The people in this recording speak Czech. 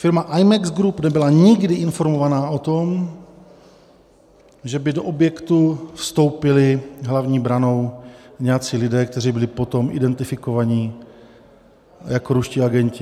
Firma IMEX Group nebyla nikdy informována o tom, že by do objektu vstoupili hlavní branou nějací lidé, kteří byli potom identifikováni jako ruští agenti.